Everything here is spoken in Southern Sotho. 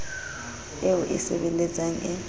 eo o e sebeletsang e